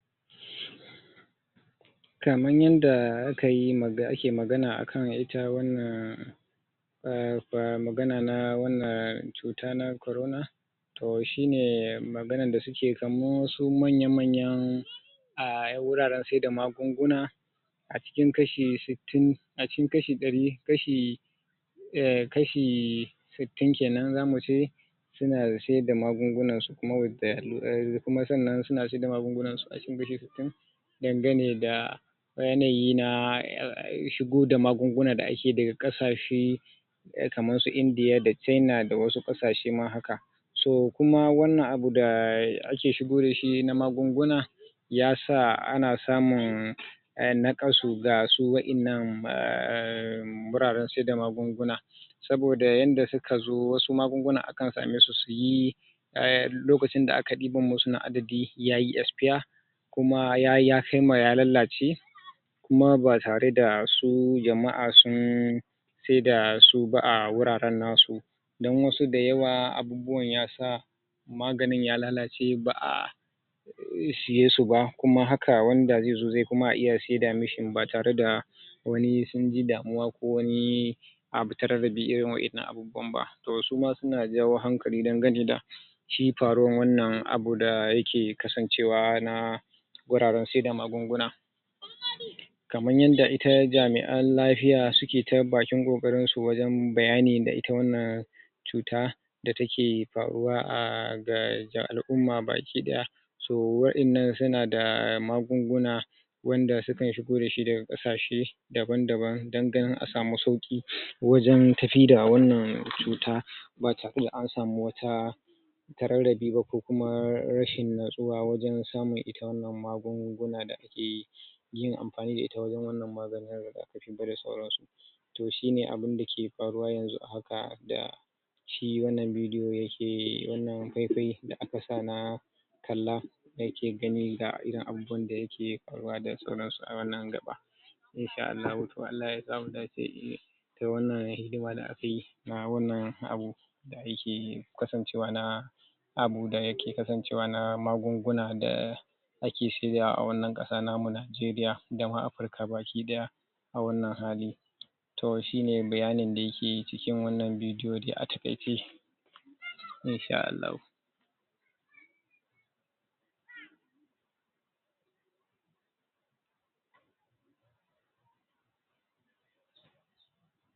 To kaman yadda naji, wannan naga wannan bidiyo shine abunda ya ƙunsa ciki, Abunda ya ƙunsa shine suna bayani ne akan magana na cutan kansa na maza Na mapitsara kenan Wanda yana da kwau Muten umm Idan ya wai yana da Yakai kaman shekara Um tala, arba'in Zuwa arba'in dasa, zuwa arba'in da, daga ar shekara arba'in zuwa sama Ya kamata ya ringa zuwa yana duba Yanayin yaya Wannan lalura yake Koya kamu ko kuwa bai kamu da wannan lalura ba Kasancewan A duba shi A tabbatar da cewa ba faruwan abun saboda idan ya kamaka to ya kama al iyalanka ne baki daya Baza'a ce wai aa kai kaine abuna ya ya zama ka ya, ya shafeka kadai ba aa iyalen ka baki daya ya shafa Saboda ita wannan cuta Ta cancer muhimmin al'amari ne, barin mana ita wannan bafitsara Kaman yadda al'umma suka fito suna Nuna abunnan dinsu alhinin su Shi wannan ranan na da ake na maganan wannan cancer din da ake Magana akai To shine ya kamata ya zama umm so maida hankali wajen Zuwa asibitoci Wajen duba yaya Yanayin ita wannan cuta take Idan ma bakada wannnan cuta ba'ace wai aa don baka dashi baka jin wani alamu ba aa, kazo gurin asibiti wurin malaman lafiya Kiwon lafiya kenan Inda ya kamata su duba su tabbatar maka da cewa a baka kamu ba Idan kuma ka kamu ne za'a ɗora kane akan hanyan daya dace a magance maka wannan lalura, shi wannan lalura na pro, cancer Na mafitsara Ba wani abu bane dazai zama maka wai, Damuwa ko jama'a su ƙamace kaba ko kuma su fara gudun ka ba aa, abune wanda allah ya sauko maka shi kuma zakazo kai control dinshi Za'ai zo a baka magani A shawo kanshi Na matsala data same ka kenan haka To in allah ya yadda shine suke bayani akai shina yanda za'ai jawo hankali ga jama'a Kowa ya rinƙa zuwa ana duba shi Lokaci bayan lokaci amma kaman daga daga shekara arba'in Zuwa sama sune ya kamata su rinƙa zuwa lokaci bayan lokaci ana duba ita wannan cuta Ko ta kamaka kokuma aa, In bata kama kaba za'a cigaba da baka shawarwari ga yanda ya kamata ka cigaba dayi gasu jama'a ma'aikatan za'a cigaba da baka shawara da yanda kamata ayi yake fama da ita